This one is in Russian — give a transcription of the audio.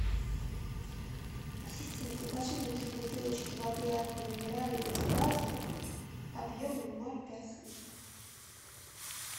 ассистент закажи мне три бутылочки воды аква минерале без газа объемом ноль пять литров